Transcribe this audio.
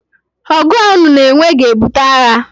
ọgụ a unu na-enwe ga-ebute agha